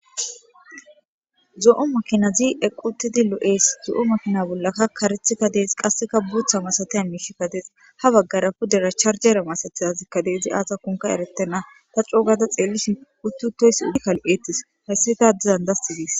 zo7o makinazi eqi utidi lo7ees, zo7o makina bollaka karethiyka des, qasseka bootha masatiya miishika des, ha baggara pudera charjere masatizazyika Des, izi azakonka eretena, ta coo gada xelishn uti utoys ubbuka lo'etes, haysi tas dizan das ges.